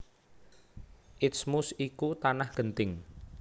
Isthmus iku tanah genting